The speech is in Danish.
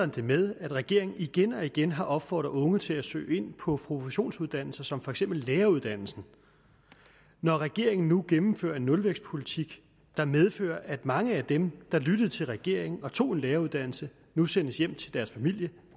det med at regeringen igen og igen har opfordret unge til at søge ind på professionsuddannelser som for eksempel læreruddannelsen når regeringen nu gennemfører en nulvækstpolitik der medfører at mange af dem der lyttede til regeringen og tog en læreruddannelse nu sendes hjem til deres familie